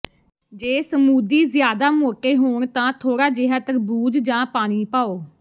ਜੇ ਸਮੂਦੀ ਜ਼ਿਆਦਾ ਮੋਟੇ ਹੋਣ ਤਾਂ ਥੋੜਾ ਜਿਹਾ ਤਰਬੂਜ ਜਾਂ ਪਾਣੀ ਪਾਓ